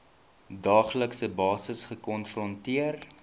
daaglikse basis gekonfronteer